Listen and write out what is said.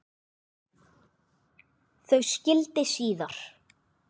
Þau skildi síðar.